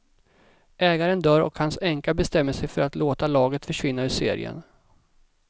Ägaren dör och hans änka bestämmer sig för att låta laget försvinna ur serien.